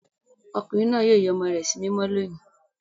Ọkùnrin náà yóò ya ọmọ rẹ̀ sí mímọ́ lónìí.